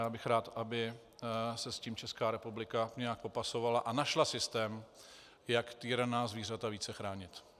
Já bych rád, aby se s tím Česká republika nějak popasovala a našla systém, jak týraná zvířata více chránit.